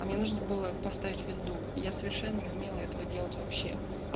а мне нужно было поставить винду я совершенно не умела этого делать вообще